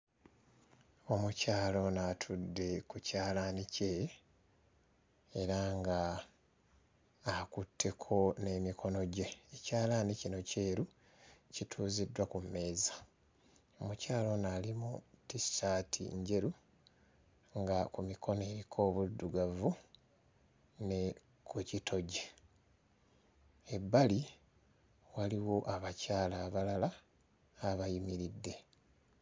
Omukyala ono atudde ku kyalaani kye era nga akutteko n'emikono gye ekyalaani kino kyeru kituuziddwa ku mmeeza omukyala ono ali mu ttissaati njeru nga ku mikono eriko obuddugavu ne ku kitogi. Ebbali waliwo abakyala abalala abayimiridde.